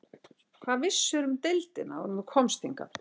Hvað vissirðu um deildina áður en þú komst hingað?